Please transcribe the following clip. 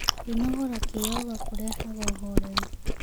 Kwĩnogora kĩyoga kũrehaga ũhorerũ